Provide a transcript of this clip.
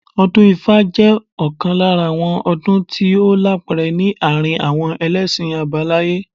Ọdún ifá jẹ́ ọ̀kan lára àwọn ọdún tí ó lápẹẹrẹ ní àárín àwọn ẹlẹ́ṣin àbáláyé